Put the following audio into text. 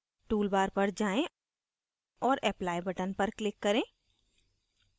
tool bar पर जाएँ और apply button पर click करें